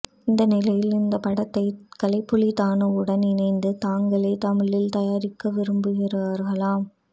இந்த நிலையில் அந்தப் படத்தை கலைப்புலி தாணுவுடன் இணைந்து தாங்களே தமிழில் தயாரிக்க விரும்புகிறார்களாம்